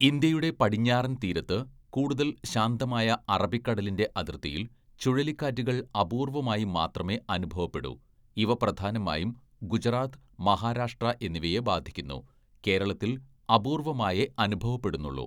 ഇന്ത്യയുടെ പടിഞ്ഞാറൻ തീരത്ത്, കൂടുതൽ ശാന്തമായ അറബിക്കടലിന്റെ അതിർത്തിയിൽ, ചുഴലിക്കാറ്റുകൾ അപൂർവ്വമായി മാത്രമേ അനുഭവപ്പെടൂ, ഇവ പ്രധാനമായും ഗുജറാത്ത്, മഹാരാഷ്ട്ര എന്നിവയെ ബാധിക്കുന്നു, കേരളത്തിൽ അപൂർവമായേ അനുഭവപ്പെടുന്നുള്ളൂ.